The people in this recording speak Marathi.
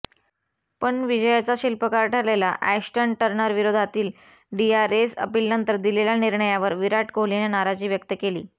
पण विजयाचा शिल्पकार ठरलेला अॅश्टन टर्नरविरोधातील डीआरएस अपीलनंतर दिलेल्या निर्णयावर विराट कोहलीनं नाराजी व्यक्त केली